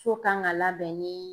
So kan ga labɛn ni